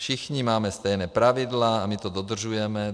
Všichni máme stejná pravidla a my to dodržujeme.